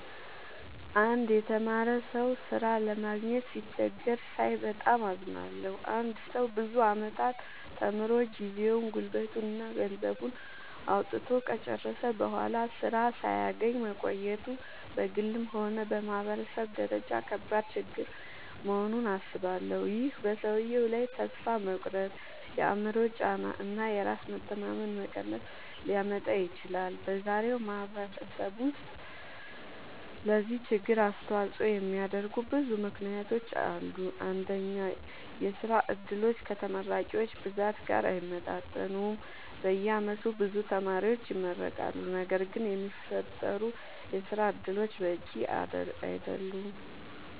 አንድ የተማረ ሰው ሥራ ለማግኘት ሲቸገር ሳይ በጣም አዝናለሁ። አንድ ሰው ብዙ ዓመታት ተምሮ፣ ጊዜውን፣ ጉልበቱን እና ገንዘቡን አውጥቶ ከጨረሰ በኋላ ሥራ ሳያገኝ መቆየቱ በግልም ሆነ በማህበረሰብ ደረጃ ከባድ ችግር መሆኑን አስባለሁ። ይህ በሰውየው ላይ ተስፋ መቁረጥ፣ የአእምሮ ጫና እና የራስ መተማመን መቀነስ ሊያመጣ ይችላል። በዛሬው ማህበረሰብ ውስጥ ለዚህ ችግር አስተዋጽኦ የሚያደርጉ ብዙ ምክንያቶች አሉ። አንደኛ፣ የሥራ ዕድሎች ከተመራቂዎች ብዛት ጋር አይመጣጠኑም። በየዓመቱ ብዙ ተማሪዎች ይመረቃሉ፣ ነገር ግን የሚፈጠሩ የሥራ እድሎች በቂ አይደሉም።